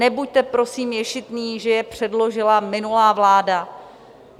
Nebuďte prosím ješitní, že je předložila minulá vláda.